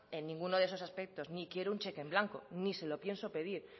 en ninguno de esos aspectos ni quiero un cheque en blanco ni se lo pienso pedir